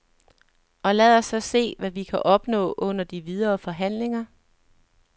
Og lad os så se, hvad vi kan opnå under de videre forhandlinger.